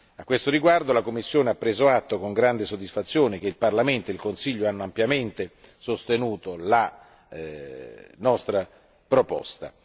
A questo riguardo, la Commissione ha preso atto con grande soddisfazione che il Parlamento e il Consiglio hanno ampiamente sostenuto la nostra proposta.